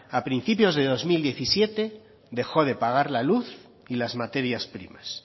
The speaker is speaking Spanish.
a principios del dos mil diecisiete dejó de pagar la luz y las materias primas